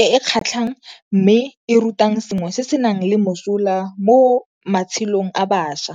e kgatlhang mme e rutang sengwe se senang le mosola mo matshelong a bašwa.